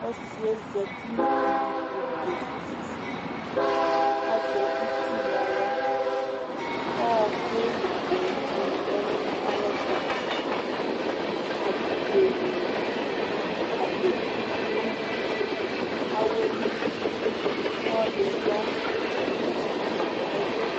Ɔsɩɛ zati nʋ iyui tʋ k' ezu fufuAzɛ uti naɣla ,ɔkʋ nʋ kpolu nɩ lɛ nʋ ayɛtʋAbidzo nʋ agbedi dʋ awɛ li ɔlɔdɩ ya n 'ɩtsɛdɩ kesili ɛzʊ